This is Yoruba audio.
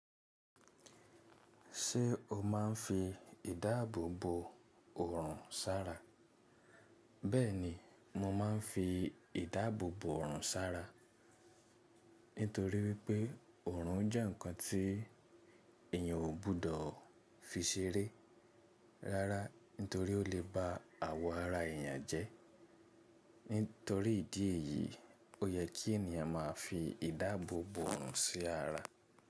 Ṣé o máa ń fi ìdáàbò bo òrùn sára? Bẹ́ẹ̀ni, mo máa ń fi ìdáàbò bo òrùn sára, nítorí wípé òrùn jẹ́ ǹkan tí èèyàn ò gbọdọ̀ fi ṣeré rárá nítorí ó lè ba àwọ̀ ara èèyàn jẹ́. Nítorí ìdí èyí ó yẹ kí èèyàn máa fi ìdáàbò bo òrùn sí ara.